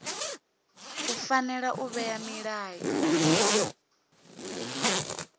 u fanela u vhea milayo